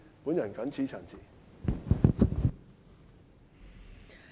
我謹此陳辭。